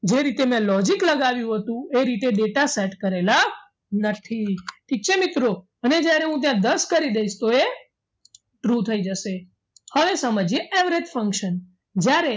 જે રીતે મેં logic લગાવ્યું હતું એ રીતે data set કરેલા નથી ઠીક છે મિત્રો અને હું જ્યારે ત્યાં દસ કરી દઈશ તો એ true થઈ જશે હવે સમજીએ average function જ્યારે